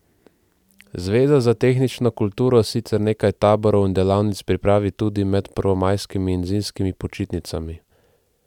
Zveza za tehnično kulturo sicer nekaj taborov in delavnic pripravi tudi med prvomajskimi in zimskimi počitnicami.